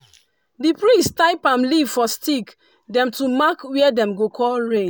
di priest tie palm leaf for stick dem to mark where dem go call rain.